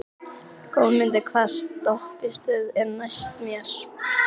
Helga Arnardóttir: Hvar að þínu mati brást lífeyrissjóðurinn?